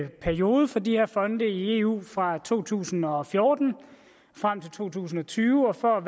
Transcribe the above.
periode for de her fonde i eu fra to tusind og fjorten og frem til to tusind og tyve og for at